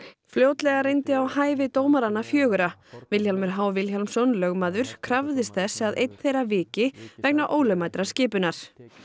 fljótlega reyndi á hæfi dómaranna fjögurra Vilhjálmur h Vilhjálmsson krafðist þess að einn þeirra viki vegna ólögmætrar skipunar